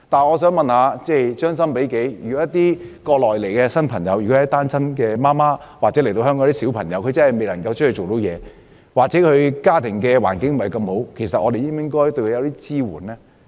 我想問，將心比己，如果從國內前來的新移民是單親媽媽或小朋友，他們真的未能夠出外工作，或家庭環境不太好，我們是否應該提供支援呢？